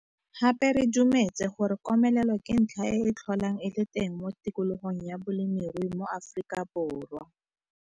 Gape re dumetse gore komelelo ke ntlha e e tlholang e le teng mo tikologong ya bolemirui mo Afrikaborwa.